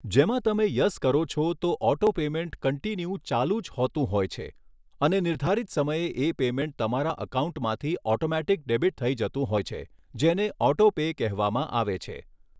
જેમાં તમે યસ કરો છો તો ઑટો પેમૅન્ટ કન્ટિન્યૂ ચાલુ જ હોતું હોય છે અને નિર્ધારિત સમયે એ પેમૅન્ટ તમારા ઍકાઉન્ટમાંથી ઑટોમેટિક ડૅબિટ થઈ જતું હોય છે જેને ઑટો પે કહેવામાં આવે છે